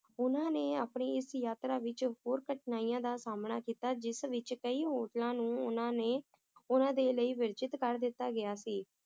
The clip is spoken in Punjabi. ਉਹਨਾਂ ਨੇ ਆਪਣੀ ਇਸ ਯਾਤਰਾ ਵਿਚ ਹੋਰ ਕਠਿਨਾਈਆਂ ਦਾ ਸਾਮਣਾ ਕੀਤਾ ਜਿਸ ਵਿਚ ਕਈ ਹੋਟਲਾਂ ਨੂੰ ਉਹਨਾਂ ਨੇ ਉਹਨਾਂ ਦੇ ਲਈ ਵਰਜਿਤ ਕਰ ਦਿੱਤਾ ਗਿਆ ਸੀ